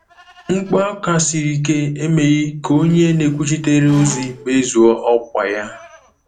Mkpu aka siri ike emeghị ka onye na-ekwuchitere ozi mezue ọkwa ya.